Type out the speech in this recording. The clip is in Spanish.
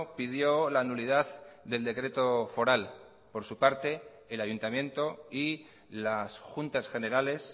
pidió la nulidad del decreto foral por su parte el ayuntamiento y las juntas generales